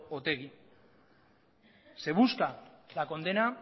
otegi se busca la condena